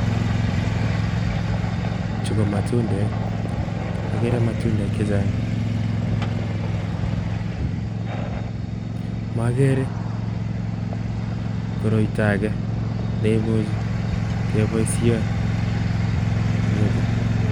Chu ko matundek akere matundek chechang makere koroiton ake neimuj keboishen en yutok